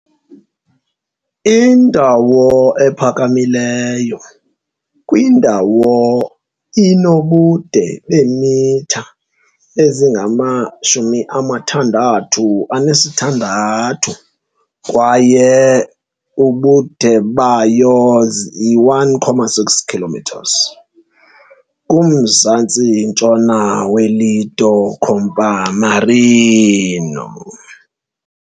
Indawo ephakamileyo kwindawo inobude beemitha ezingama-66 kwaye i-1.6 km kumzantsi-ntshona weLido Campomarino.